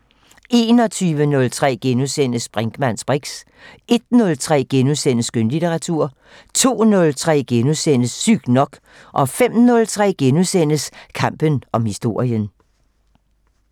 21:03: Brinkmanns briks * 01:03: Skønlitteratur * 02:03: Sygt nok * 05:03: Kampen om historien *